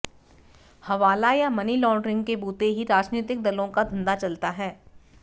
हवाला या money laundering के बूते ही राजनीतिक दलों का धंधा चलता है